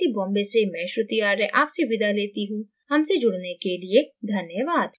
यह tutorial this Amit Kumar द्वारा अनुवादित है आईआईटी बॉम्बे से मैं श्रुति आर्य आपसे विदा लेती हूँ हमसे जुड़ने के लिए धन्यवाद